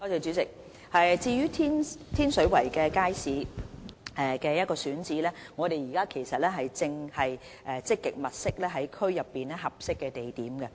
主席，對於天水圍街市的選址，我們現時正積極在區內物色合適地點。